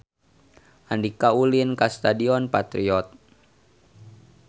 Andika ulin ka Stadion Patriot